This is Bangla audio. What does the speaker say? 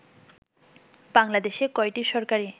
বাংলাদেশে কয়টি সরকারী